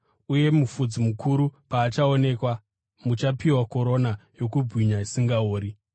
Uye mufudzi mukuru paachaonekwa, muchapiwa korona yokubwinya isingaori.